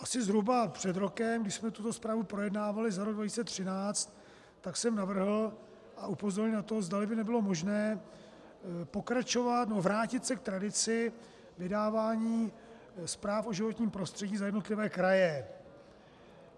Asi zhruba před rokem, když jsme tuto zprávu projednávali za rok 2013, tak jsem navrhl a upozornil na to, zdali by nebylo možné pokračovat nebo vrátit se k tradici vydávání zpráv o životním prostředí za jednotlivé kraje.